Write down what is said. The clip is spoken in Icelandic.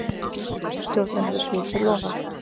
Stjórnin hafi svikið loforð